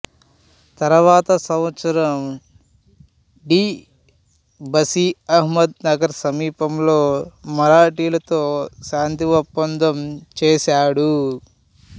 తరువాత సంవత్సరం de Bussy Ahmednagar సమీపంలో మరాఠీలతో శాంతి ఒప్పందం చేసాడు